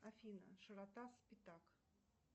афина широта спитак